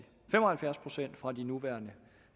fem og halvfjerds procent fra de nuværende